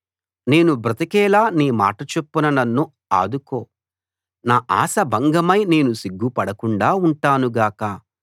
నేను బ్రతికేలా నీ మాట చొప్పున నన్ను ఆదుకో నా ఆశ భంగమై నేను సిగ్గుపడకుండా ఉంటాను గాక